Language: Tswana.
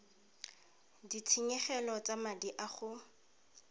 ditshenyegelo tsa madi a go